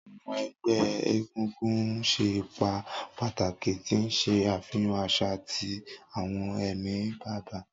Awọn ẹgbẹ egungun ṣe ipa pataki, ti n ṣe afihan aṣa ati awọn ẹmi baba.